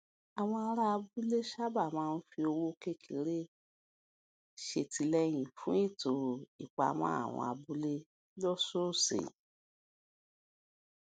àwọn ará abúlé sábà máa ń fi owó kékeré ṣètìlẹyìn fún ètò ìpamọ àwọn abúlé lósòòsè